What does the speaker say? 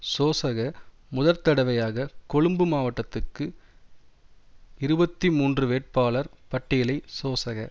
சோசக முதற்தடவையாக கொழும்பு மாவட்டத்துக்கு இருபத்தி மூன்று வேட்பாளர் பட்டியலை சோசக